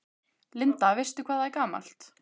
Linda: Veistu hvað það er gamalt?